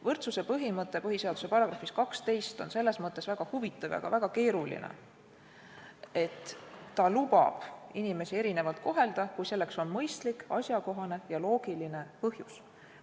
Võrdsuse põhimõte põhiseaduse §-s 12 on selles mõttes väga huvitav ja väga keeruline, et ta lubab inimesi erinevalt kohelda, kui selleks on mõistlik, asjakohane ja loogiline põhjus.